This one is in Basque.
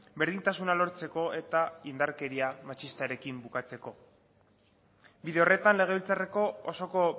berdintasuna lortzeko eta indarkeria matxistarekin bukatzeko bide horretan legebiltzarreko osoko